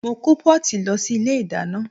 Mo kó pọ́ọ̀tì lọ sí ilé ìdáná